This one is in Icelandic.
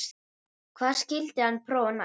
Hvað skyldi hann prófa næst?